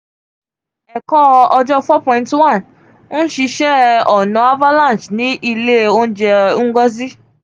ẹkọ ọjọ four point one nṣiṣẹ ọna avalanche ni ile ounjẹ ngozi